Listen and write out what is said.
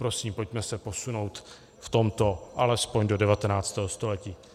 Prosím, pojďme se posunout v tomto alespoň do 19. století.